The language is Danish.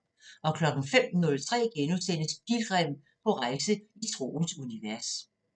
05:03: Pilgrim – på rejse i troens univers *